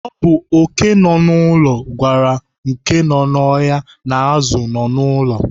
Ọ bụ oké nọ n'ụlọ gwara oké nọ n'ọhịa na azụ nọ n'ụlọ.